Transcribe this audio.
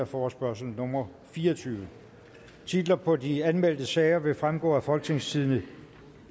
forespørgsel nummer fire og tyve titler på de anmeldte sager vil fremgå af folketingstidende